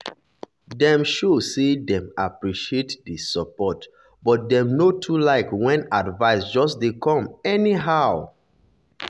dem show say dem appreciate the support but dem no too like when advice just dey come anyhow.